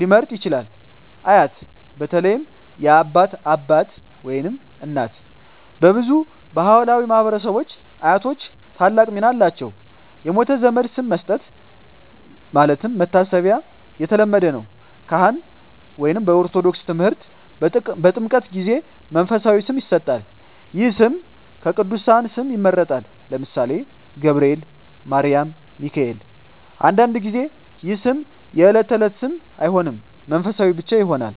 ሊመርጥ ይችላል። አያት (በተለይ የአባት አባት/እናት) በብዙ ባሕላዊ ማኅበረሰቦች አያቶች ታላቅ ሚና አላቸው። የሞተ ዘመድ ስም መስጠት (መታሰቢያ) የተለመደ ነው። ካህን (በኦርቶዶክስ ተምህርት) በጥምቀት ጊዜ መንፈሳዊ ስም ይሰጣል። ይህ ስም ከቅዱሳን ስም ይመረጣል (ለምሳሌ፦ ገብርኤል፣ ማርያም፣ ሚካኤል)። አንዳንድ ጊዜ ይህ ስም የዕለት ተዕለት ስም አይሆንም፣ መንፈሳዊ ብቻ ይሆናል።